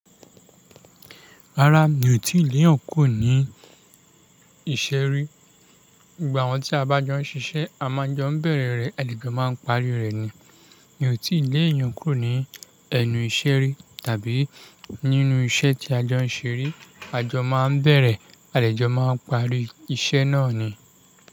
Rárá, mi ò tíì léèyàn kúrò ní ìṣe ri. Gbogbo awọ́n tí a bá jọ ń ṣiṣẹ́, a máa jọ ń bẹ̀rẹ̀ rẹ̀, àdejò máa ń parí rẹ̀ ni. Mi ò tíì léèyàn kúrò ní ẹnu ìṣe ri tàbí nínú iṣẹ́ tí a jọ ń ṣe rí. A jọ máa ń bẹ̀rẹ̀, àlejò máa ń parí iṣẹ́ náà ni.